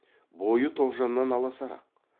бойы тоғжаннан аласарақ